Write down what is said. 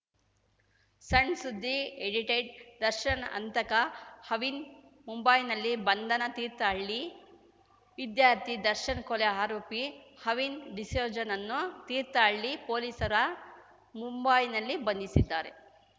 ಸಣ್‌ಸುದ್ದಿ ಎಡಿಟೆಡ್‌ ದರ್ಶನ್‌ ಹಂತಕ ಅವಿನ್‌ ಮುಂಬೈನಲ್ಲಿ ಬಂಧನ ತೀರ್ಥಹಳ್ಳಿ ವಿದ್ಯಾರ್ಥಿ ದರ್ಶನ್‌ ಕೊಲೆ ಆರೋಪಿ ಅವಿನ್‌ ಡಿಸೋಜನನ್ನು ತೀರ್ಥಹಳ್ಳಿ ಪೊಲೀಸರ ಮುಂಬೈನಲ್ಲಿ ಬಂಧಿಸಿದ್ದಾರೆ